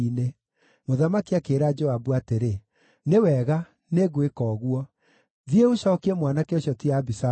Mũthamaki akĩĩra Joabu atĩrĩ, “Nĩ wega, nĩngwĩka ũguo. Thiĩ, ũcookie mwanake ũcio ti Abisalomu.”